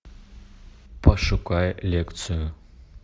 пошукай лекцию